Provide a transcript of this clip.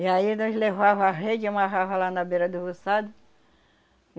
E aí nós levava a rede, amarrava lá na beira do roçado.